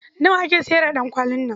Nawa ake sayar da ɗankwalin nan?